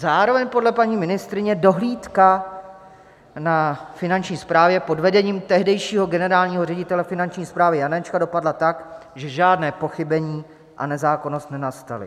Zároveň podle paní ministryně dohlídka na Finanční správě pod vedením tehdejšího generálního ředitele Finanční správy Janečka dopadla tak, že žádné pochybení a nezákonnost nenastaly.